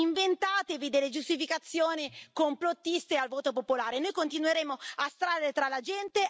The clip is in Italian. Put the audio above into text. Non fate autocritica e inventatevi delle giustificazioni complottiste al voto popolare.